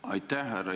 Aitäh!